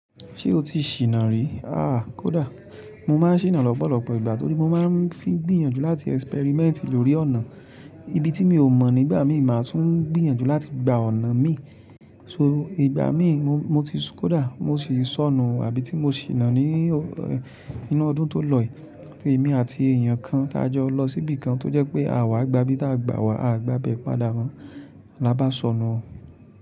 Ṣé o ti ṣìnà rí? Aà kódà. Mo má n ṣìnà lọ́pọ̀lọpọ̀ ìgbà torí mo má n fí gbìyànjú láti ẹ́sípẹ́rímẹ́ǹtì lórí ọ̀nà. Ibi tí mi ò mọ̀ nígbà mi máa tún gbìyànjú láti gba ọ̀nà mi. So ìgbà mí mo ti kódà mo ṣì sọnù àbí tí mo ṣìnà ní inú ọdún tó lọ yìí torí èmi àti èèyàn kan tá jọ lọ sí ibì kan tó jẹ́ pé àwa gbá bí táa gbà wá, a gbá bẹ̀ padà rán bá sọnù.